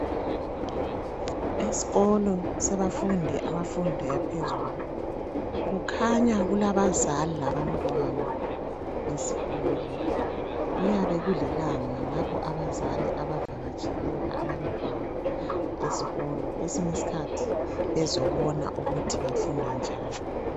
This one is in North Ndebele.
Esikolo sabafundi abafunda yaphezulu kukhanya kulabazali labantwana besikolo kuyabe kulilanga lapho abazali abavakatsheleyo abantwana esikolo kwesinye isikhathi bezobona ukuthi bafunda njani